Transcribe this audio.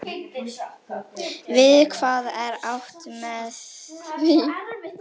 Við hvað er átt með því?